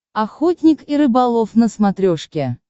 охотник и рыболов на смотрешке